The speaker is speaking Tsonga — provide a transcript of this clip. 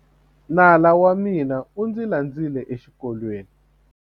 Nala wa mina u ndzi landzile exikolweni.